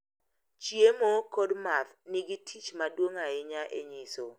chiemo kod math nigi tich maduong' ahinya e nyiso ,